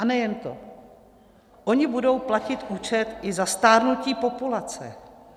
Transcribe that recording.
A nejen to, oni budou platit účet i za stárnutí populace.